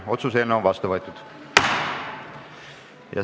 Otsus on vastu võetud.